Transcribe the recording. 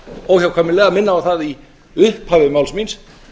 óhjákvæmilega minna á það í upphafi máls míns